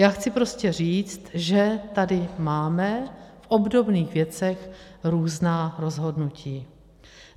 Já chci prostě říct, že tady máme v obdobných věcech různá rozhodnutí.